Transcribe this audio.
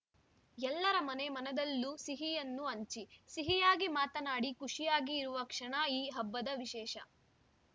ಎಲ್ಲರ ಮನೆ ಮನದಲ್ಲೂ ಸಿಹಿಯನ್ನು ಹಂಚಿ ಸಿಹಿಯಾಗಿ ಮಾತನಾಡಿ ಖುಷಿಯಾಗಿ ಇರುವ ಕ್ಷಣ ಈ ಹಬ್ಬದ ವಿಶೇಷ